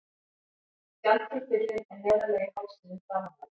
Skjaldkirtillinn er neðarlega í hálsinum framanverðum.